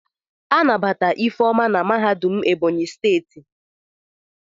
Anabata Ifeoma na mahadum Ebonyi steeti.